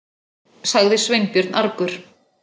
sagði Sveinbjörn argur.